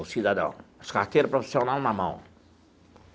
Ô, cidadão, as carteira profissional na mão.